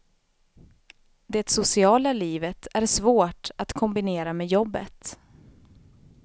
Det sociala livet är svårt att kombinera med jobbet.